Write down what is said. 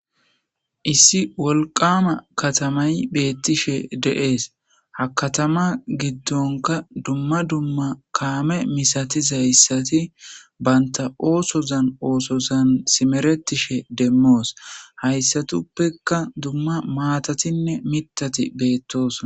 issi wolqama katamay beettishe de7ees hakatama giddonka dumma dumma kaame misatiz hayssati banta oosozan oosozan simeretishe demmoos hayssatuppekka dumma maatatinne mitati beettoos